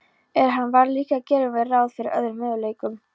En hann varð líka að gera ráð fyrir öðrum möguleikum.